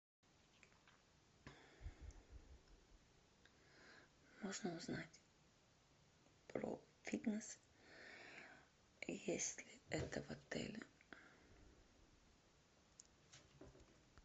можно узнать про фитнес есть ли это в отеле